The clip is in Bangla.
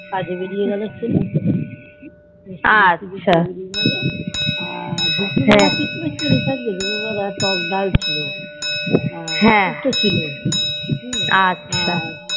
কাজে বেরিয়ে গেলো ছেলে রুটি ফুটি খেয়ে বেরিয়ে গেলো আর দুপুর বেলা টক ডাল ছিল আর সুক্ত ছিল হম আর